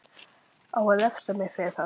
Á að refsa mér fyrir það?